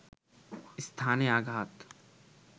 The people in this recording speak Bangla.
স্থানে আঘাত